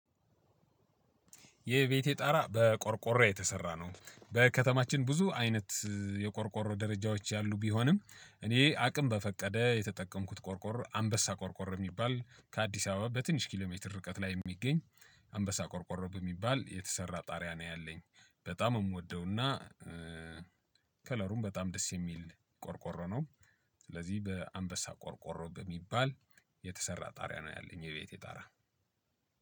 የቤተ ጣራ በቆርቆሮ የተሰራ ነው። ከተማችን ብዙ አይነት የቆርቆሮ ደረጃዎች ያሉ ቢሆንም እኔ አቅም በፈቀዴ የተጠቀምኩት ቆርቆሮ አንበሳ ቆርቆሮ የሚባል ከአዲስ አበባ በትንሽ እርቀት ላይ የሚገኝ አንበሳ ቆርቆሮ በሚባል የተሰራ ጣሪያ ነው ያለኝ በጣም የምወደውና ከለሩም በጣም ደስ የሚል ቆርቆሮ ነው። ስለዚህ በአንበሳ ቆርቆሮ በሚባል የተሰራ ጣሪያ ነው ያለኝ የቤቴ ጣራ።